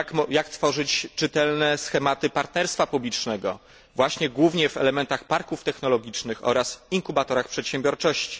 Jak tworzyć czytelne schematy partnerstwa publicznego, właśnie głównie w elementach parków technologicznych oraz inkubatorach przedsiębiorczości?